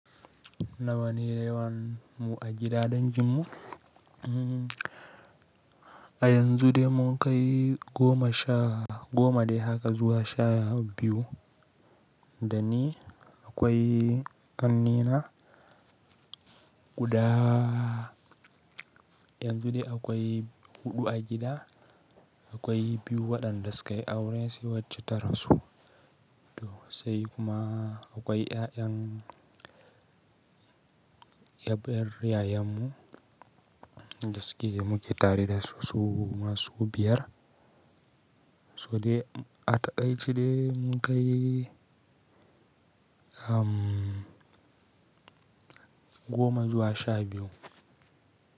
Nawa ne yawan mu a gida danginmu? A yanzu dai mun kai goma sha, goma dai haka zuwa sha biyu. Da ni akwai ƙannena guda yanzu dai akwai huɗu a gida. Akwai biyu waɗanda sukayi aure sai wacce ta rasu. To sai kuma akwai ƴaƴan ƴabaiyar yayan mu, dasuke muke tareda su masu biyar. To dai a taƙaici dai mun kai, hmm, goma zuwa sha biyu.